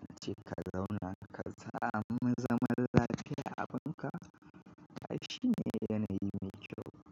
Na ce ka zauna ka sa mu zaman lafiya abin ka ai shine yanayi mai kyau.